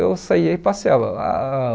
Eu saia e passeava ah.